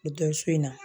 Dɔsu in na